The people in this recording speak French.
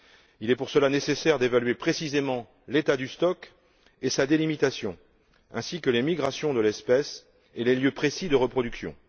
Il est pour cela nécessaire d'évaluer précisément l'état du stock et sa délimitation, ainsi que les migrations de l'espèce et les lieux précis de reproduction.